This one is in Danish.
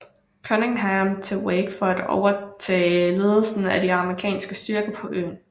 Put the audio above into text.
Cunningham til Wake for at overtage ledelsen af de amerikanske styrker på øen